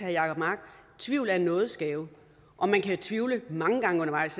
jacob mark tvivl er en nådesgave og man kan tvivle mange gange undervejs